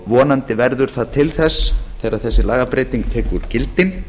vonandi verður það til þess þegar þessi lagabreyting tekur gildi